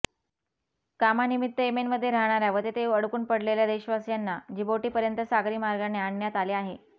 कामानिमित्त येमेनमध्ये रहणार्या व तेथे अडकून पडलेल्या देशवासियांना जिबौटीपर्यंत सागरी मार्गाने आणण्यात आले आहे